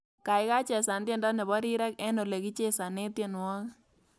Gaigai chesan tyendo nebo rirek eng olegichesane tyenwogik